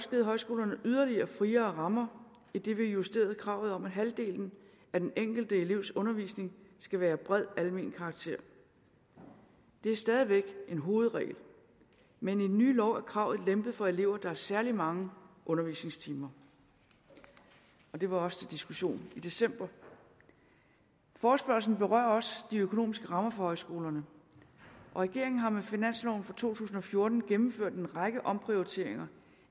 givet højskolerne yderligere friere rammer idet vi har justeret kravet om at halvdelen af den enkelte elevs undervisning skal være af bred almen karakter det er stadig væk en hovedregel men i den nye lov er kravet lempet for elever der har særlig mange undervisningstimer og det var også til diskussion i december forespørgslen berører også de økonomiske rammer for højskolerne og regeringen har med finansloven for to tusind og fjorten gennemført en række omprioriteringer